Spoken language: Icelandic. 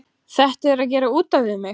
Þetta er að gera út af við mig.